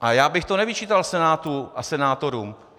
A já bych to nevyčítal Senátu a senátorům.